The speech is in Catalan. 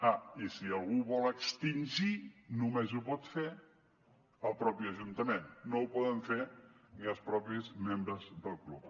ah i si algú ho vol extingir només ho pot fer el mateix ajuntament no ho poden fer ni els membres mateixos del club